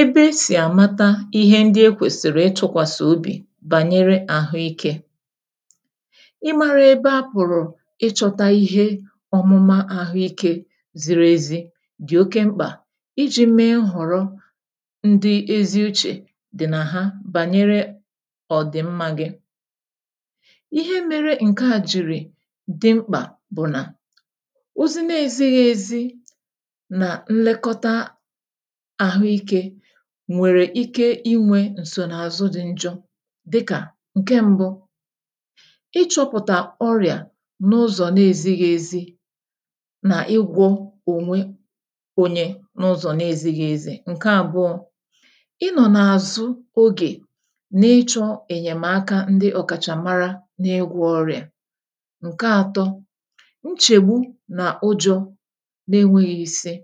Ebe e sì àmata ihe ndị ekwèsị̀rị̀ ị tụ̇kwàsị̀ obì bànyere àhụ ikė: ị mara ebe apụ̀rụ̀ ịchọ̇ta ihe ọ̀mụma àhụikė ziri ezi dị̀ oke mkpà iji̇ mee họ̀rọ̇ ndị ezi uchè dị̀ nà ha bànyere ọ̀ dị̀ mmȧ gị. Ihe mere ǹke à jìrì dị mkpà bụ̀ nà ozi n’ezighi ezi na nlekota àhụike nwèrè ike inwė ǹsò n’àzụ di njọ dikà; Nke mbu, ịchọ̇pụ̀tà ọrị̀à n’ụzọ̀ na-ezighi ezi nà igwọ̇ ònwe onye n’ụzọ̀ na-ezighi ezi. Nke àbụọ, ị nọ̀ n’àzụ ogè na ịchọ̇ ènyèmaka ndị ọ̀kàchàmara na-igwọ ọrị̀à. Nke atọ, nchègbu n’ụjọ̇ na-enweghị̇ isi.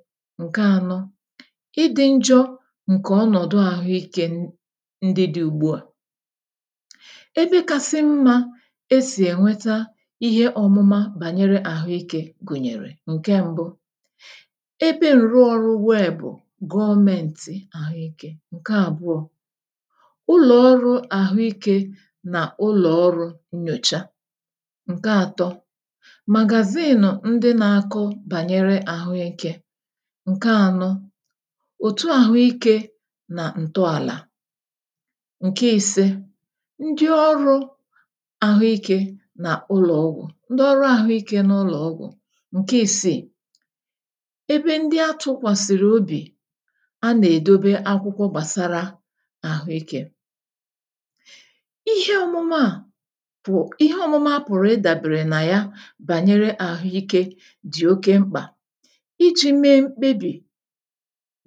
Nke ànọ, ịdị̇ njọ̇ ǹkè ọnọ̀dụ àhụikė ndị dị̇ ùgbu à. Ebe kasi mmȧ e sì ènweta ihe ọ̀mụma bànyere àhụikė gụ̀nyèrè; Nke mbụ, ebe ǹrụọ ọrụ weebụ̀ gọọmeǹtị̀ àhụikė. Nke àbụọ, ̇ ụlọ̀ ọrụ̇ àhụikė n' ụlọ̀ ọrụ ǹnyòcha. Nke àtọ, màgàzinu ndị na-akọ̇ bànyere àhụikė. Nke ànọ, òtu àhụ ikė nà ǹtọàlà. Nke ìse, ndị ọrụ àhụ ikė nà ụlọ̀ ọgwụ̇, ndị ọrụ àhụ ikė n’ụlọ̀ ọgwụ̇. Nke ìsì, ebe ndị atụkwàsị̀rị̀ obì a nà-èdobe akwụkwọ gbàsara àhụ ikė. Ihe ọmụmụ à pụ̀ ihe ọmụmụ a pụ̀rụ̀ ịdàbere nà ya bànyere àhụ ikė dị̀ oke mkpà iji̇ mee mkpebì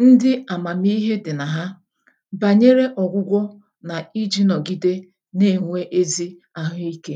ǹdi amamiihe di na ha, bànyere ọ̀gwụgwọ nà iji̇ nọ̀gide na-ènwe ezi àhụike.